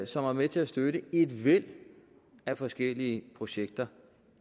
som var med til at støtte et væld af forskellige projekter